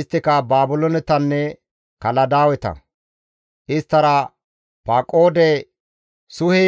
Isttika Baabiloonetanne Kaladaaweta; isttara Paqoode, Suhe,